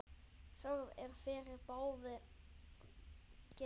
Þörf er fyrir báðar gerðir.